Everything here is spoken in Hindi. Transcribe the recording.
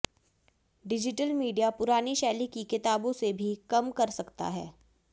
डिजिटल मीडिया पुरानी शैली की किताबों से भी कम कर सकता है